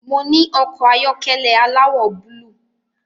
Mo ní ọkọ̀ ayọ́kẹ́lẹ́ aláwọ̀ búlúù